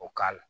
O k'a la